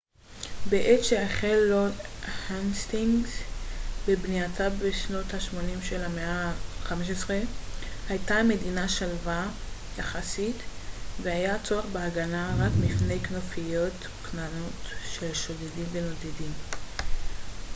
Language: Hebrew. בעת שהחל לורד האסטינגס בבנייתה בשנות השמונים של המאה ה־15 הייתה המדינה שלווה יחסית והיה צורך בהגנה רק מפני כנופיות קטנות של שודדים נודדים